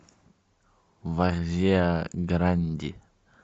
варзеа гранди